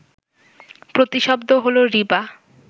প্রতিশব্দ হলো রিবা